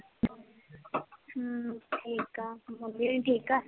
ਹੂੰ ਠੀਕ ਹਾਂ ਬੱਬਲੀ ਹੁਣ ਠੀਕ ਆ?